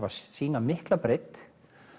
að sýna mikla breidd